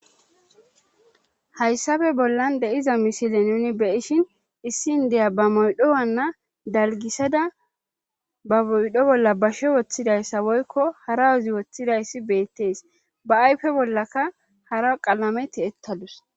Hayssafe bollan deiza misile nuni beishin issin deya ba moydho wanna dalgisada ba moydho bolla bashe woththidayssa woykko hara wozi woththidayssi beettees ba ayfe bollaka hara qalameti ettadus